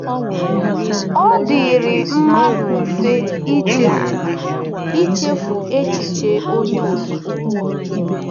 Ọ dịịrị mmadụ mfe ichefu ichefu echiche Onye Okike.